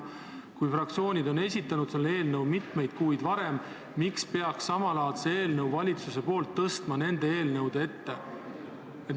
Kui fraktsioonid on esitanud samalaadsed eelnõud mitmeid kuid varem, siis miks peaks hilisema, valitsuse eelnõu tõstma nende eelnõude ette?